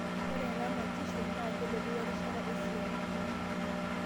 Ore ena matishio naa kelotu worishat esiaai.